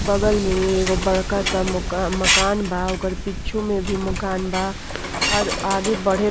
बगल में एगो बड़का सा मकांन बा। ओकर पिचों में भी मकान बा और आगे बढ़े --